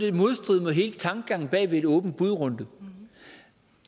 i modstrid med hele tankegangen bag en åben bud runde